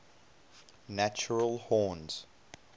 natural horns